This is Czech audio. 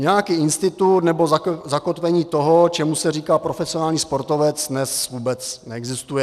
Nějaký institut nebo zakotvení toho, čemu se říká profesionální sportovec, dnes vůbec neexistuje.